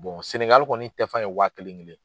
Senegal kɔni tɛfan ye waa kelen kelen.